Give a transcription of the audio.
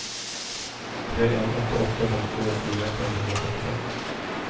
tre en åtte åtte femtifire fem hundre og førtifem